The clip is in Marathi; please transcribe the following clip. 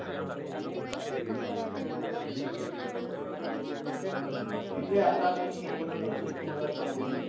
इथं आता मी एक गोष्ट अजून तुम्हाला सांगू इच्छितो